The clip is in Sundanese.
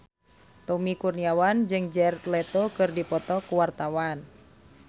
Tommy Kurniawan jeung Jared Leto keur dipoto ku wartawan